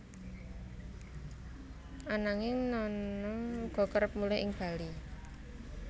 Ananging Nana uga kerep mulih ing Bali